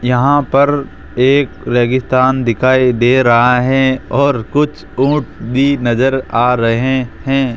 यहां पर एक रेगिस्तान दिखाई दे रहा है और कुछ ऊंट भी नजर आ रहे है।